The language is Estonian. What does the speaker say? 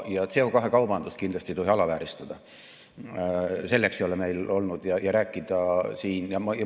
CO2 kaubandust ei tohi kindlasti alavääristada.